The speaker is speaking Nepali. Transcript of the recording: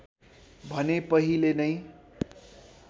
भने पहिले नै